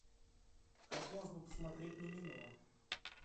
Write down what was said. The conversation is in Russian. хотелось бы посмотреть мимино